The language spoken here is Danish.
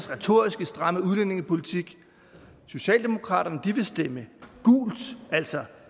retorisk stramme udlændingepolitik socialdemokraterne vil stemme gult altså